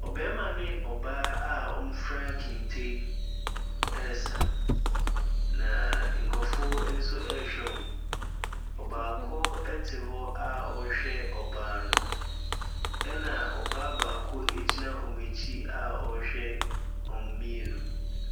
Ɔbarima ne ɔbaa. wɔfira kente resa. Na nkorɔfoɔ nso ɛrehwɛ wɔn. Ɔbaako ɛte hɔ a ɔrehwɛ ɔbaa no, ɛna ɔbaa baako egyina wɔn ɛkyi a ɔrehwɛ wɔn mmienu.